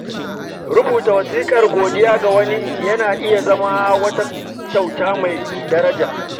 Rubuta wasiƙar godiya ga wani yana iya zama wata kyauta mai daraja.